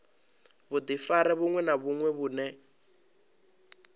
vhudifari vhuṅwe na vhuṅwe vhune